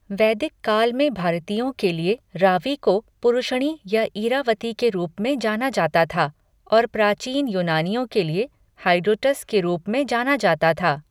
वैदिक काल में भारतीयों के लिए रावी को पुरुषणी या इरावती के रूप में जाना जाता था और प्राचीन यूनानियों के लिए हाइड्रोटस के रूप में जाना जाता था।